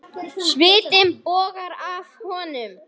Svitinn bogar af honum.